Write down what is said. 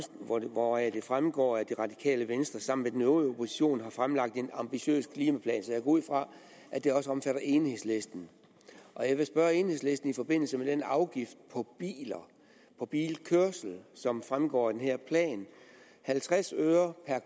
hvoraf det fremgår at det radikale venstre sammen med den øvrige opposition fremlægger en ambitiøs klimaplan jeg går ud fra at den også omfatter enhedslisten jeg vil spørge enhedslisten i forbindelse med den afgift på bilkørsel som fremgår af den her plan halvtreds øre per